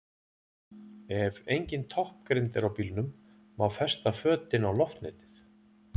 Ef engin toppgrind er á bílnum má festa fötin á loftnetið.